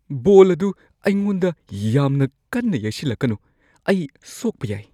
ꯕꯣꯜ ꯑꯗꯨ ꯑꯩꯉꯣꯟꯗ ꯌꯥꯝꯅ ꯀꯟꯅ ꯌꯩꯁꯤꯜꯂꯛꯀꯅꯣ꯫ ꯑꯩ ꯁꯣꯛꯄ ꯌꯥꯏ ꯫